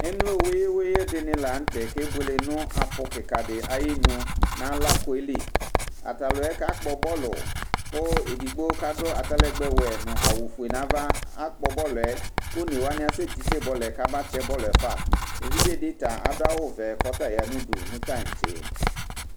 emlo dɩnɩ la nutɛ kebuele nʊ apʊ kikadɩ ayinu, nʊ alakoli, atalʊɛ kakpɔ bɔlu, kʊ edigbo adʊ atalɛgbɛ wɛ nʊ awu fue nava, akpɔ bɔlʊɛ kʊ onewanɩ asɛ titse bɔlʊɛ kamatɛ bɔluɛ fa, evidzedɩ ta adʊ awu vɛ kʊ ɔta ya nʊ udu nʊ tãtse